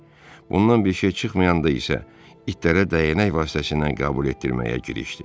Bundan bir şey çıxmayanda isə, itlərə dəyənək vasitəsilə qəbul etdirməyə girişdi.